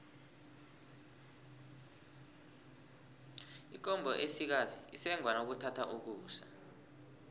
ikomo esikazi isengwa nakuthatha ukusa